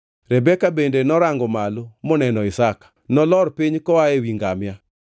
Rebeka bende norango malo moneno Isaka. Nolor piny koa ewi ngamia